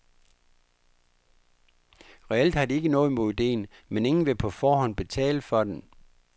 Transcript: Reelt har de ikke noget mod ideen, men ingen vil på forhånd betale for den.